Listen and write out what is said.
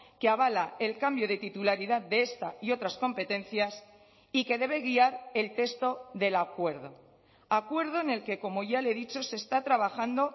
que avala el cambio de titularidad de esta y otras competencias y que debe guiar el texto del acuerdo acuerdo en el que como ya le he dicho se está trabajando